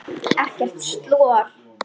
Ekkert slor!